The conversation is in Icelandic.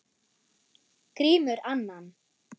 Grímur annan.